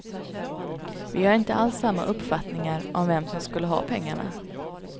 Vi har inte alls samma uppfattning om vem som skulle ha pengarna.